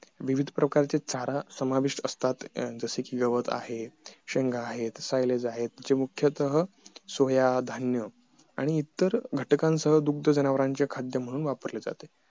विविध प्रकारचे चारा समाविष्ट असतात जस कि गवत आहे शेंगा आहेत सिलेज आहेत जे मुख्यतः सोया धान्य आणि इतर घटकांसह दुग्ध जनावरांचे खाद्य म्हणून वापरले जाते